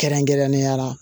Kɛrɛnkɛrɛnnenya la